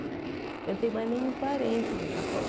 Eu não tenho mais nenhum parente no Japão.